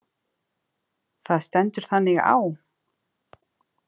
Það stendur þannig á.